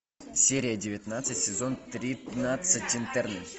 серия девятнадцать сезон тринадцать интерны